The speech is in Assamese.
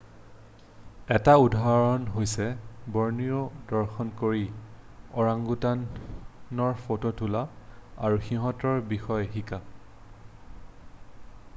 এটা উদাহৰণ হৈছে বৰ্ণিঅ' দৰ্শন কৰি ওৰাংওটানৰ ফটো তোলা আৰু সিহঁতৰ বিষয়ে শিকা